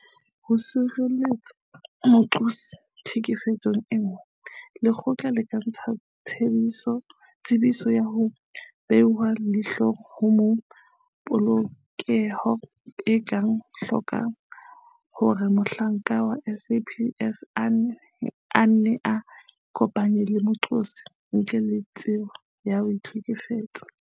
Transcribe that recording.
Ho sireletsa moqosi tlhekefetsong e nngwe, lekgotla le ka ntsha Tsebiso ya ho Behwa leihlo ha Polokeho e tla hloka hore mohlanka wa SAPS a nne a ikopanye le moqosi ntle le tsebo ya mohlekefetsi.